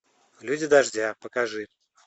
люди дождя покажи